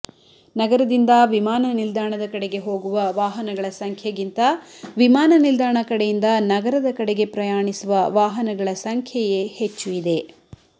ನಗರದಿಂದ ವಿಮಾನನಿಲ್ದಾಣದ ಕಡೆಗೆ ಹೋಗುವ ವಾಹನಗಳ ಸಂಖ್ಯೆಗಿಂತ ವಿಮಾನನಿಲ್ದಾಣ ಕಡೆಯಿಂದ ನಗರದ ಕಡೆಗೆ ಪ್ರಯಾಣಿಸುವ ವಾಹನಗಳ ಸಂಖ್ಯೆಯೇ ಹೆಚ್ಚು ಇದೆ